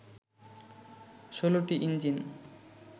১৬টি ইঞ্জিন